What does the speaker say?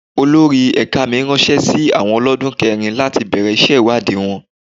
Olórí ẹ̀ka mi ránṣẹ́ sí àwọn olodun kẹrin láti bẹ̀rẹ̀ iṣẹ́ ìwádìí wọn.